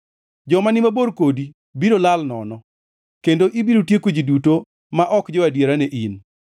Joma ni mabor kodi biro lal nono kendo ibiro tieko ji duto ma ok jo-adiera ne in.